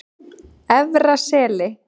Efra Seli